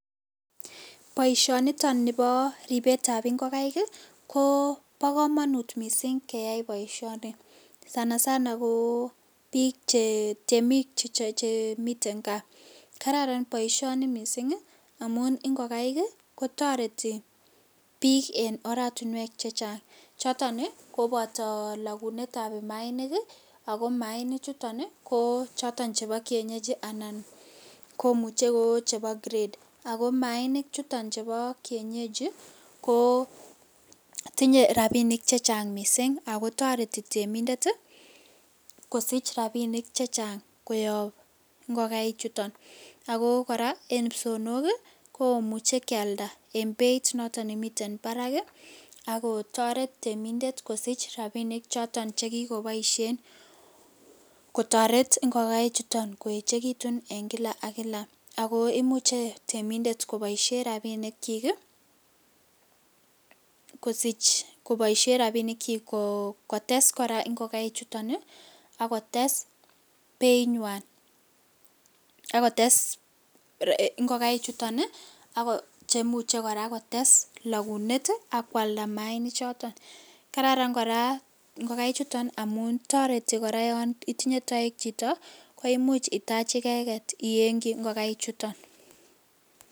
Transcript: Boisioniton nibo ribetab ingokaik ii ko bokomonut missing' keyai boisioni sana sana ko bik che temik chemiten kaa kararan boisioni missing' ii amun ingokaik kotoreti bik en oratinwek chechang choton kobolo logunetab maainik ii ako maainichuton ii ko choton chebo kienyeji anan komuche ko chebo [s]grade, ako maainichuton chubo kienyeji koo tinye rabinik chechang missing' ako toreti temindet kosich rabinik chechang koyob ingokaichuton, ako koraa en ipsoonok ii komuche kialda en beit noton nemiten barak ii ako toret temindet kosich rabinik choton chekikoboisien kotoret ingokaichuton koechekitun en kila ak kila ako imuche temindet koboisien rabinikchik ii kosich koboishen rabinikchik kotes koraa ingokaichuton ii ak kotes beinywan ak kotes ingokaichuton cheimuche kotes koraa logunet ii ak kwalda maainichoton, kararan koraa ingokaichuton amun toreti yon itinye took koraa chito koimuch itach icheget iyengchi ingokaichuton.